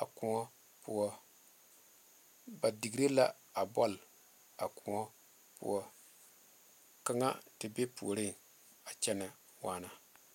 a koɔ poɔ ba digre la a bɔle a koɔ poɔ kaŋa te be puoriŋ a kyɛnɛ waana.